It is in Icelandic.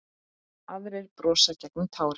Aðrir brosa gegnum tárin.